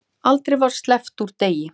Aldrei var sleppt úr degi.